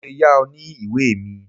Mo lè yá ọ ní ìwé mi.